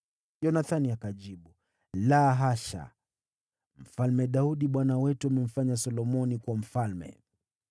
Yonathani akajibu, “La hasha! Mfalme Daudi bwana wetu amemfanya Solomoni kuwa mfalme.